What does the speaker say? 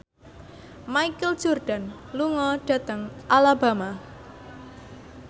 Michael Jordan lunga dhateng Alabama